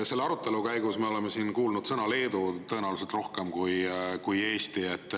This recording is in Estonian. Selle arutelu käigus me oleme siin kuulnud sõna "Leedu" tõenäoliselt rohkem kui sõna "Eesti".